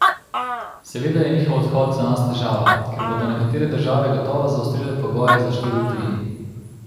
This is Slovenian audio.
Seveda je njihov odhod za nas težava, ker bodo nekatere države gotovo zaostrile pogoje za študij v tujini.